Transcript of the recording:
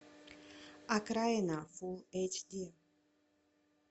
окраина фулл эйч ди